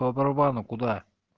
по барабану куда